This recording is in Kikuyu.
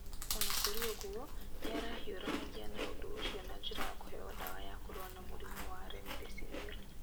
O na kũrĩ ũguo, nĩ arahiũranagia na ũndũ ũcio na njĩra ya kũheo ndawa ya kũrũa na mũrimũ wa remdesivir.